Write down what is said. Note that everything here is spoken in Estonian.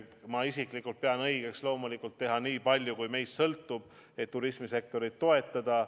Ma isiklikult pean loomulikult õigeks teha nii palju, kui meist sõltub, et turismisektorit toetada.